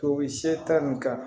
Tobi se ta nin kan